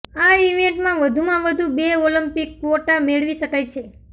આ ઇવેન્ટમાં વધુમાં વધુ બે ઓલિમ્પિક ક્વોટા મેળવી શકાય છે